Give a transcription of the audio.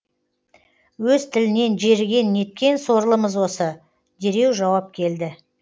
өз тілінен жеріген неткен сорлымыз осы дереу жауап келді